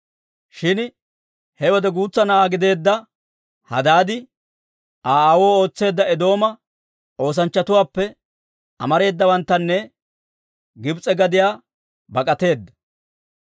Shin he wode guutsa na'aa gideedda Hadaadi, Aa aawoo ootseedda Eedooma oosanchchatuwaappe amareedawanttuna Gibs'e gadiyaa bak'ateedda.